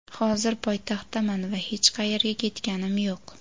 hozir poytaxtdaman va hech qayerga ketganim yo‘q.